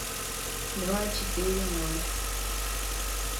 два четыре ноль